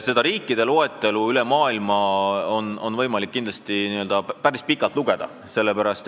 See riikide loetelu on kindlasti päris pikk.